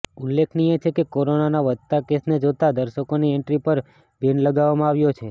ઉલ્લેખનીય છે કે કોરોનાના વધતા કેસને જોતા દર્શકોની એન્ટ્રી પર બેન લગાવવામાં આવ્યો છે